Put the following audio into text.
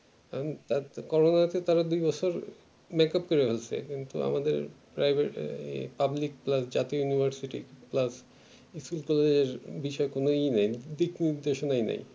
corona তে দুই বছর makeup করে দিয়েছে কিন্তু আমাদের private public uh university plus এর বিষয় কোনো ই নাই